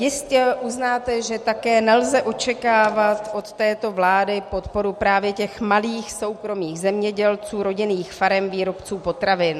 Jistě uznáte, že také nelze očekávat od této vlády podporu právě těch malých soukromých zemědělců, rodinných farem, výrobců potravin.